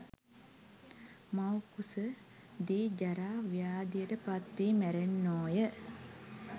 මවුකුස දී ජරා, ව්‍යාධියට පත්වී මැරෙන්නෝය.